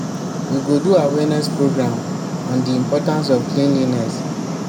we go do awareness program on the importance of cleanliness